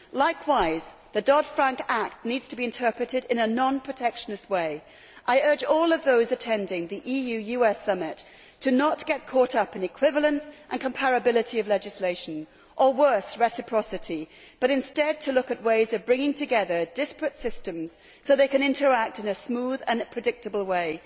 Likewise, the Dodd Frank Act needs to be interpreted in a non protectionist way. I urge all those attending the EU US summit not to get caught up in equivalence and comparability of legislation or, worse, reciprocity, but instead to look at ways of bringing together disparate systems so they can interact in a smooth and predictable way.